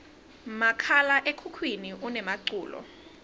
makhala ekhukhwini unemaculo